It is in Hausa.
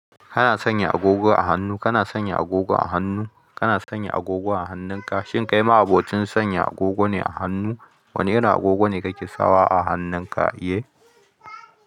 Kana sanya agogo a hannu. Kana sanya agogo a hannu. Kana sanya agogo a hannunka. Shin kai ma abocin sanya agogo ne a hannu? Wane irin agogo ne kake sawa a hannunka, iye?